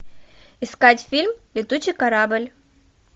искать фильм летучий корабль